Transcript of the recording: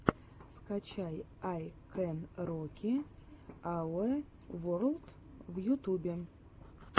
скачай ай кэн роки ауэ ворлд в ютьюбе